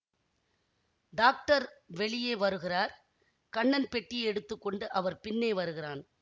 doctor வெளியே வருகிறார் கண்ணன் பெட்டியை எடுத்து கொண்டு அவர் பின்னே வருகிறான்